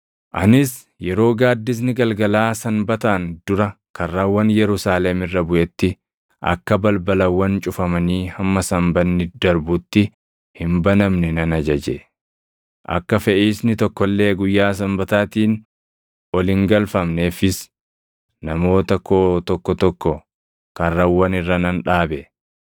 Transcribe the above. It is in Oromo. Anis yeroo gaaddisni galgalaa Sanbataan dura karrawwan Yerusaalem irra buʼetti akka balbalawwan cufamanii hamma Sanbanni darbutti hin banamne nan ajaje. Akka feʼiisni tokko illee guyyaa Sanbataatiin ol hin galfamneefis namoota koo tokko tokko karrawwan irra nan dhaabe.